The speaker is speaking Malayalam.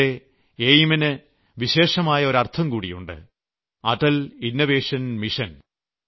എന്റെ എയിം ന് വിശേഷമായ ഒരർത്ഥംകൂടിയുണ്ട് അടൽ ഇന്നോവേഷൻ മിഷൻ